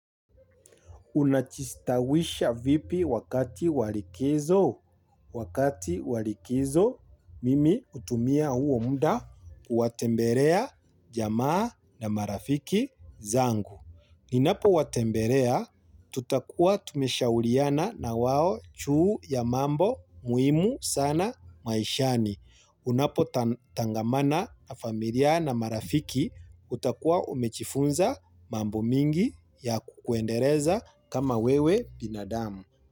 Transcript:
Una jistawisha vipi wakati wa likizo, wakati walikizo mimi utumia huo muda kuwatembelea jamaa na marafiki zangu ninapo watembelea tutakuwa tumeshauriana na wao juu ya mambo muhimu sana maishani. Unapotangamana na familia na marafiki utakua umejifunza mambo mingi ya kukuendeleza kama wewe binadamu.